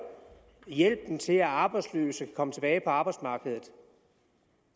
hjælpen til at de arbejdsløse kan komme tilbage på arbejdsmarkedet